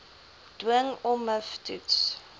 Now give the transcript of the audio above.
dwing ommiv toets